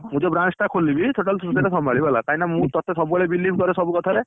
ମୁଁ ଯୋଉ branch ଟା ଖୋଲିବି total ତୁ ସେଇଟା ସମ୍ଭାଳିବୁ ହେଲା, କାହିକି ନା ମୁଁ ତତେ believe କରେ ସବୁକଥା ରେ।